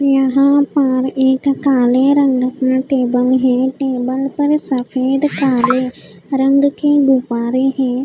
यहाँ पर एक काले रंग का टेबल है टेबल पर सफ़ेद काले रंग के गुब्बारे हैं।